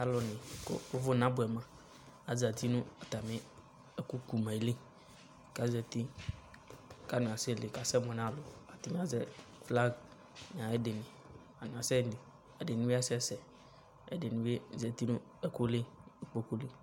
Alʋ ɛdɩnɩ kʋ ʋvʋ nabʋɛ ma azati nʋ atamɩ ɛkʋ ku ma yɛ li kʋ azati kanasɛli kanasɛmʋ nʋ alʋ Ɛdɩnɩ azɛ flag nʋ ayʋ ɛdɩ kasɛli ɛdɩnɩ bɩ kasɛsɛ ɛdɩnɩ bɩ zati nʋ ɛkʋ li, ikpoku li